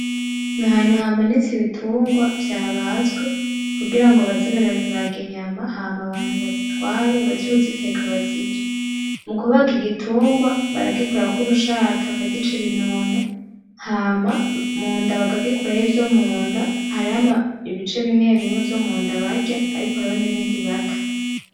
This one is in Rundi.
N'ahantu hamanitse ibitungwa vyabazwe kugira baze barabibaga inyama hama abantu bazitware baje kuziteka bazirye, mukubaga igitungwa baragikurako urushato bakagica ibinono hama munda bakagikuramwo ivyo munda, har'ibice bimwebimwe vyo munda barya nibindi bata.